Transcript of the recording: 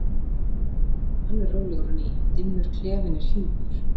Nú er hann orðinn alveg rólegur á ný, dimmur klefinn er hjúpur.